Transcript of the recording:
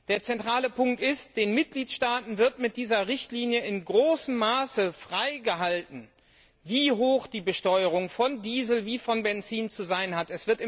Der zentrale Punkt ist Den Mitgliedstaaten wird mit dieser Richtlinie in großem Maße freigestellt, festzulegen, wie hoch die Besteuerung von Diesel und Benzin zu sein hat.